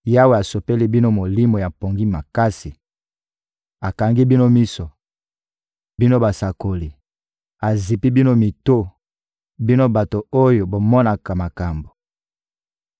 Yawe asopeli bino molimo ya pongi makasi; akangi bino miso, bino basakoli, azipi bino mito, bino bato oyo bomonaka makambo.